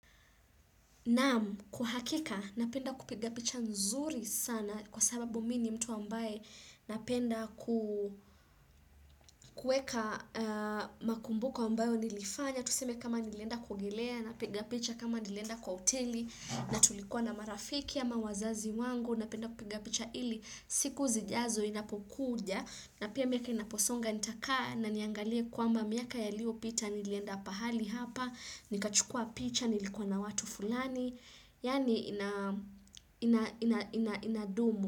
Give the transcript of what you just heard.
Naam, kwa hakika, napenda kupiga picha nzuri sana kwa sababu mini mtu ambaye napenda kuweka makumbuko ambayo nilifanya. Tuseme kama nilenda kuoeilea, napiga picha kama nilienda kwa hoteli, natulikuwa na marafiki ama wazazi wangu, napenda kupiga picha ili, siku zijazo zinapokuja. Na pia miaka inaposonga nitakaa na niangalie kwamba miaka yalio pita nilienda pahali hapa, nikachukua picha, nilikuwa na watu fulani, yani inadumu.